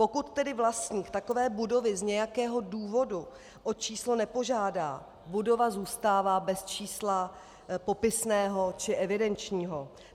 Pokud tedy vlastník takové budovy z nějakého důvodu o číslo nepožádá, budova zůstává bez čísla popisného či evidenčního.